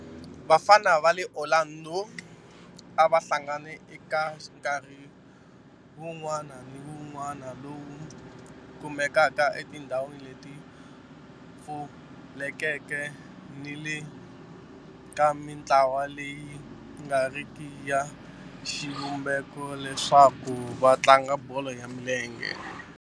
Vafana va le Orlando a va hlangana eka nkarhi wun'wana ni wun'wana lowu kumekaka etindhawini leti pfulekeke ni le ka mintlawa leyi nga riki ya xivumbeko leswaku va tlanga bolo ya milenge.